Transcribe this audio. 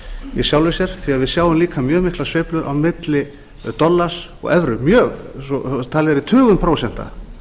í sjálfu sér því að við sjáum líka mjög miklar sveiflur á milli dollars og evru mjög svo talið er í tugum prósenta